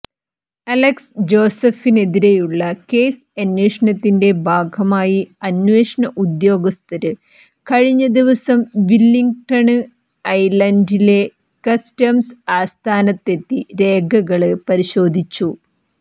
Alex ജോസഫിനെതിരെയുള്ള കേസ് അന്വേഷണത്തിന്റെ ഭാഗമായി അന്വേഷണ ഉദ്യോഗസ്ഥര് കഴിഞ്ഞ ദിവസം വില്ലിംഗ്ടണ് ഐലന്റിലെ കസ്റ്റംസ് ആസ്ഥാനത്തെത്തി രേഖകള് പരിശോധിച്ചു